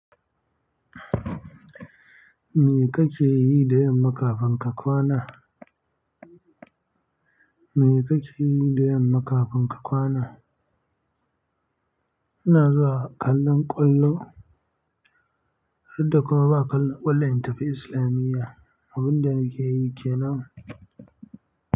Me kake yi da yamma kafin ka kwana? Me kake yi da yamma kafin ka kwana? Ina zuwa kallon ƙwallo har da kuma ba ƙallon ƙwallon in tafi islamiya. Abin da nake yi kenan.